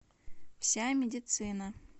вся медицина